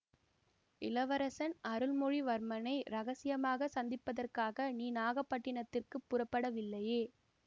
இளவரசன் அருள்மொழிவர்மனை இரகசியமாகச் சந்திப்பதற்காக நீ நாகைப்பட்டினத்துக்குப் புறப்படவில்லையே